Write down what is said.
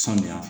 Sanuya